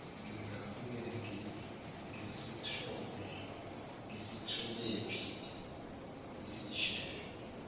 ngingabuye ngisitholephi isishebo